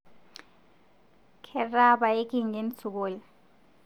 Ketaa payie kingen sukul